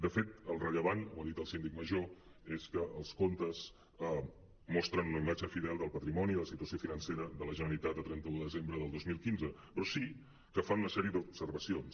de fet el rellevant ho ha dit el síndic major és que els comptes mostren una imatge fidel del patrimoni de la situació financera de la generalitat a trenta un de desembre del dos mil quinze però sí que fan una sèrie d’observacions